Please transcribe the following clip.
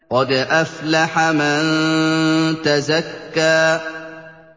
قَدْ أَفْلَحَ مَن تَزَكَّىٰ